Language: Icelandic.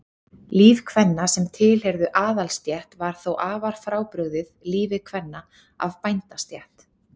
líf kvenna sem tilheyrðu aðalsstétt var þó afar frábrugðið lífi kvenna af bændastétt